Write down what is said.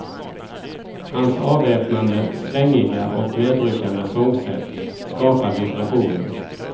Hans avväpnande svängiga och medryckande sångsätt skapar vibrationer.